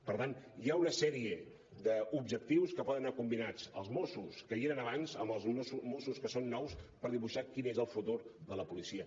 per tant hi ha una sèrie d’objectius en què poden anar combinats els mossos que hi eren abans amb els mossos que són nous per dibuixar quin és el futur de la policia